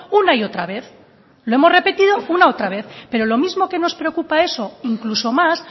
una y otra vez lo hemos repetido una y otra vez pero lo mismo que nos preocupa eso incluso más